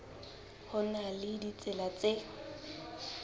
ho na le ditsela tse